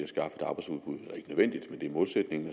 det er målsætningen